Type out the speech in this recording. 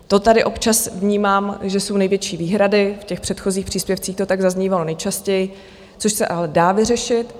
To tady občas vnímám, že jsou největší výhrady, v těch předchozích příspěvcích, to tak zaznívalo nejčastěji, což se ale dá vyřešit.